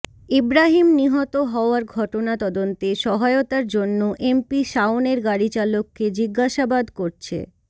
ইব্রাহীম নিহত হওয়ার ঘটনা তদন্তে সহায়তার জন্য এমপি শাওনের গাড়িচালককে জিজ্ঞাসাবাদ করছে